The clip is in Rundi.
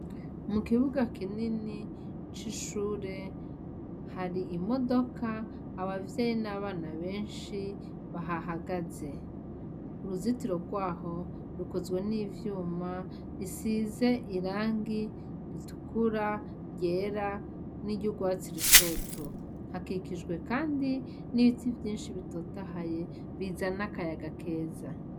Mu kibuga kinini c'ishure hari imodoka abavyayi n'abana benshi bahahagaze uruzitiro rwaho rukuzwe n'ivyuma risize irangi ritukura ryera n'iryourwatsi rutoto ikijwe, kandi n'ibitsi vyinshi bitotahaye bizana akayaga keza.